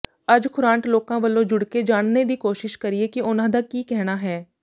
ਅੱਜ ਖ਼ੁਰਾਂਟ ਲੋਕਾਂ ਵਲੋਂ ਜੁੱੜਕੇ ਜਾਣਨੇ ਦੀ ਕੋਸ਼ਿਸ਼ ਕਰੀਏ ਕਿ ਉਨ੍ਹਾਂ ਦਾ ਕੀ ਕਹਿਣਾ ਹੈ